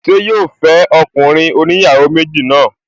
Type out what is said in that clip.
Ṣé yóò fẹ́ ọkùnrin oníyàwó méjì náà?